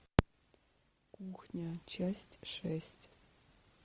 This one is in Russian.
кухня часть шесть